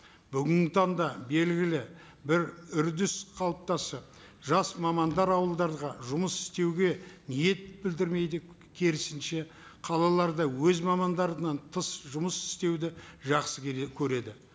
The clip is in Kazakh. бүгінгі таңда белгілі бір үрдіс қалыптасады жас мамандар ауылдарға жұмыс істеуге ниет білдірмейді керісінше қалаларда өз мамандарынан тыс жұмыс істеуді жақсы көреді